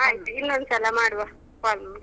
ಆಯ್ತು ಇನ್ನೊಂದ್ಸಲ ಮಾಡುವ call .